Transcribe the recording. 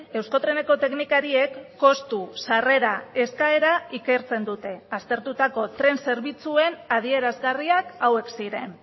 euskotreneko teknikariek kostu sarrera eskaera ikertzen dute aztertutako tren zerbitzuen adierazgarriak hauek ziren